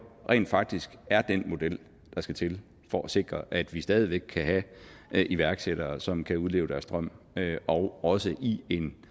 rent faktisk er den model der skal til for at sikre at vi stadig væk kan have iværksættere som kan udleve deres drøm og også i en